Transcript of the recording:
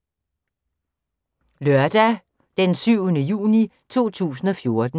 Lørdag d. 7. juni 2014